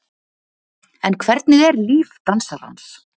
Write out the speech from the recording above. En hvernig er líf dansarans?